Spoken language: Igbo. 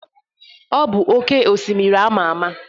Ọ bụ oké osimiri ama ama.